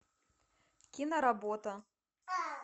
киноработа